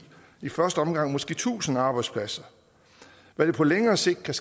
i første omgang måske tusind arbejdspladser hvad det på længere sigt kan